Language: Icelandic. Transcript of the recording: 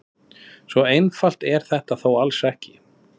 Svo einfalt er þetta þó alls ekki.